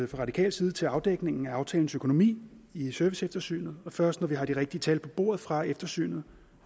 radikal side til afdækningen af aftalens økonomi i serviceeftersynet og først når vi har de rigtige tal på bordet fra eftersynet